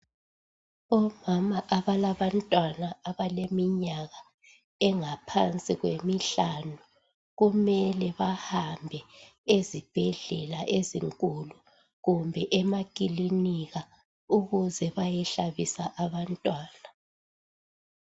Omama abalabantwana abaleminyaka engaphansi kwemihlanu kumele bahambe ezibhedlela ezinkulu kumbe emakilinika ukuze bayehlabisa abantwana.